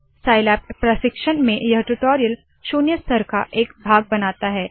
Scilab प्रशिक्षण में यह ट्यूटोरियल शून्य स्तर का एक भाग बनाता है